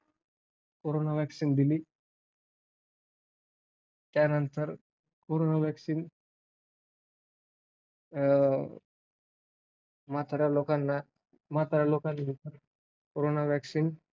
Corona vaccine दिली. त्यानंतर corona vaccine अं म्हाताऱ्या लोकांना, म्हाताऱ्या लोकांना दिली. Corona vaccine